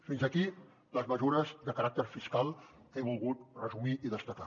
fins aquí les mesures de caràcter fiscal que he volgut resumir i destacar